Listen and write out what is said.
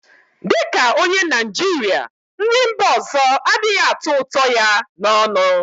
Dị ka onye Naịjirịa, nri mba ọzọ adịghị atọ ụtọ ya n'ọnụ